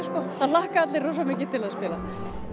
það hlakka allir rosa mikið til að spila